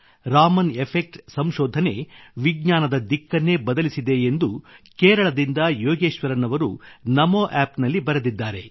Raman effect ಸಂಶೋಧನೆ ವಿಜ್ಞಾನದ ದಿಕ್ಕನ್ನೇ ಬದಲಿಸಿದೆ ಎಂದು ಕೇರಳದಿಂದ ಯೋಗೇಶ್ವರನ್ ಅವರು ನಮೋ ಆಪ್ ನಲ್ಲಿ ಬರೆದಿದ್ದಾರೆ